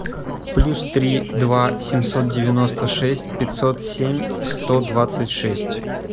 плюс три два семьсот девяносто шесть пятьсот семь сто двадцать шесть